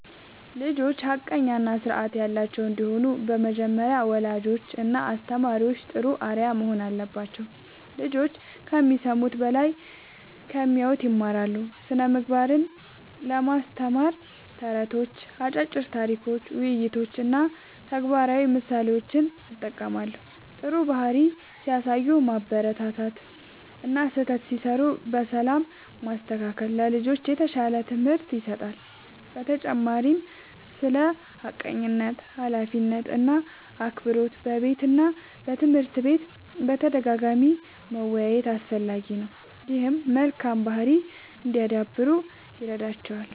ልጆች ሐቀኛ እና ስርዓት ያላቸው እንዲሆኑ በመጀመሪያ ወላጆችና አስተማሪዎች ጥሩ አርአያ መሆን አለባቸው። ልጆች ከሚሰሙት በላይ ከሚያዩት ይማራሉ። ስነ ምግባርን ለማስተማር ተረቶች፣ አጫጭር ታሪኮች፣ ውይይቶች እና ተግባራዊ ምሳሌዎችን እጠቀማለሁ። ጥሩ ባህሪ ሲያሳዩ ማበረታታት እና ስህተት ሲሠሩ በሰላም ማስተካከል ለልጆች የተሻለ ትምህርት ይሰጣል። በተጨማሪም ስለ ሐቀኝነት፣ ኃላፊነት እና አክብሮት በቤትና በትምህርት ቤት በተደጋጋሚ መወያየት አስፈላጊ ነው። ይህም መልካም ባህሪ እንዲያዳብሩ ይረዳቸዋል።